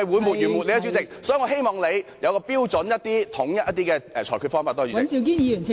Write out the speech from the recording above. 所以，我希望你有統一的標準及裁決方法，多謝代理主席。